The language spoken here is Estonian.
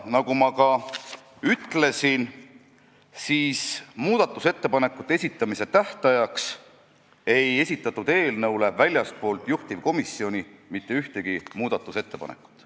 Nagu ma ka ütlesin, muudatusettepanekute esitamise tähtajaks ei esitatud eelnõu kohta väljastpoolt juhtivkomisjoni mitte ühtegi muudatusettepanekut.